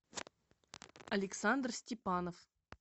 александр степанов